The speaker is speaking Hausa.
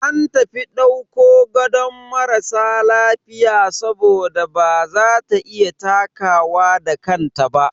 An tafi dauko gadon marasa lafiya saboda baza ta iya takawa da kanta ba.